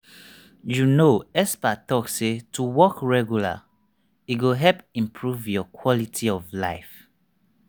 you know experts talk say to walk regular e go help improve your quality of life.